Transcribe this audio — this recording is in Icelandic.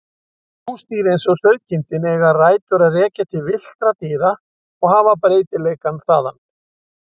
Húsdýr eins og sauðkindin eiga rætur að rekja til villtra dýra og hafa breytileikann þaðan.